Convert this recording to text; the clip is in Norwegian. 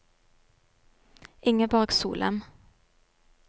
Ingeborg Solem